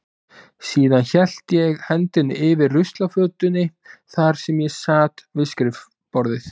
Síðan hélt ég hendinni yfir ruslafötunni þar sem ég sat við skrifborðið.